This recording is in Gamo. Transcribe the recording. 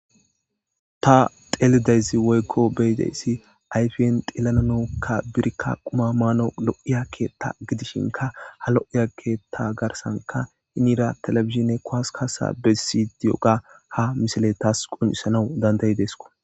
ta telidayzi woykko beyidayssi ayfiyen tillananokka birikka quma maano lo7iyakeetta gidishinka ha lo7iya keetta garsanka hinira telebizine koaskasa besidiyoga ha misile taas qunisanau dandayi deesko